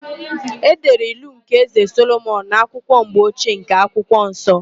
E dere ilu nke Ézē Solomọn n'akwụkwọ mgbochie nke akwụkwọ nsọ.